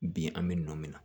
Bi an bɛ nɔ min na